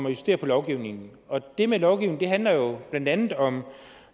justere på lovgivningen og denne lovgivning handler jo blandt andet om